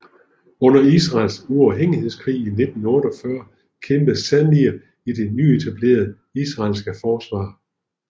Under Israels uafhængighedskrig i 1948 kæmpede Zamir i det nyetablerede israelske forsvar